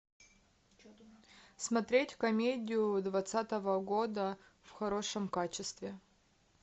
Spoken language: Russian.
смотреть комедию двадцатого года в хорошем качестве